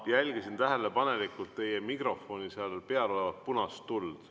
Ma jälgisin tähelepanelikult teie mikrofoni peal olevat punast tuld.